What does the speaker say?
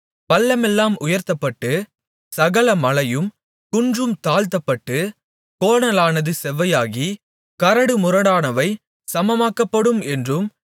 பள்ளமெல்லாம் உயர்த்தப்பட்டு சகல மலையும் குன்றும் தாழ்த்தப்பட்டு கோணலானது செவ்வையாகி கரடுமுரடானவை சமமாக்கப்படும் என்றும்